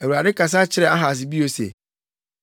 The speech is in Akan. Awurade kasa kyerɛɛ Ahas bio se,